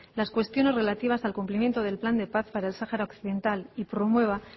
las cuestiones relativas al cumplimiento del plan de paz para el sahara occidental y promueva